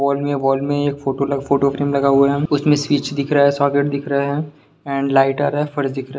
wall में wall में एक फोटो लग फोटो फ्रेम लगा हुआ है उसमें स्विच दिख रहा है सॉकेट दिख रहा है-- एंड लाइटर है फर्स दिख रह--